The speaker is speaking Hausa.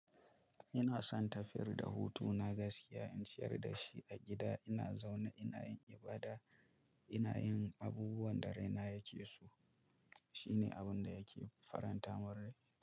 Ina son tafiyar da hutu na gaskiya in shayar da shi a gida ina zaune ina yin ibada ina yin abubuwan da raina yake so. Shine abun da yake faranta murar kai.